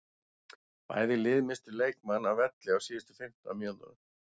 Bæði lið misstu leikmann af velli á síðustu fimmtán mínútunum.